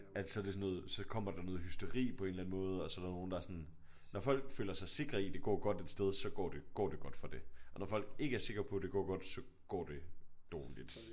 At så er det sådan noget så kommer der noget hysteri på en eller anden måde og så er der nogle der sådan når folk føler sig sikre i det går godt et sted så går det går det godt for det og når folk ikke er sikre på det går godt så går det dårligt